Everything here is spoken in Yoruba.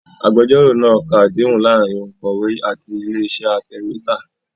Agbẹjọ́rò náa ka àdéhùn láàárín òǹkọ̀wé àti ilé-iṣẹ́ atẹ̀wétà.